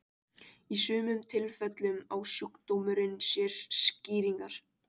Í sumum tilfellum á sjúkdómurinn sér skýringar.